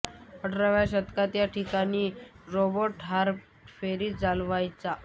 अठराव्या शतकात या ठिकाणी रॉबर्ट हार्पर फेरी चालवायचा